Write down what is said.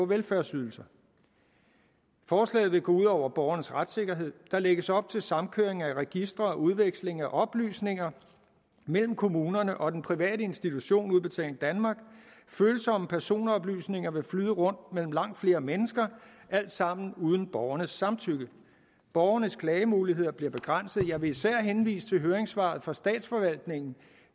velfærdsydelser forslaget vil gå ud over borgernes retssikkerhed der lægges op til samkøring af registre og udveksling af oplysninger mellem kommunerne og den private institution udbetaling danmark følsomme personoplysninger vil flyde rundt mellem langt flere mennesker alt sammen uden borgernes samtykke borgerne klagemuligheder bliver begrænsede jeg vil især henvise til høringssvaret fra statsforvaltningerne